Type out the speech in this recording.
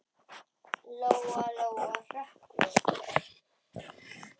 Lóa-Lóa hrökk við.